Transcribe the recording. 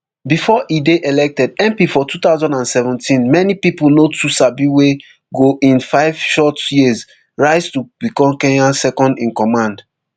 bifor e dey elected mp for two thousand and seventeen many pipo no too sabi wey go in five short years rise to become kenya secondincommand